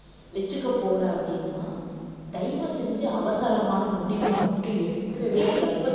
வச்சுக்க போற அப்படின்னா தயவு செஞ்சு அவசரமான முடிவை மட்டும் எடுத்திடவே எடுத்திடாதே